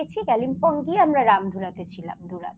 কালিম্পঙের দিকে গেছি কালিম্পং গিয়ে আমরা রামধুরাতে ছিলাম দুরাত।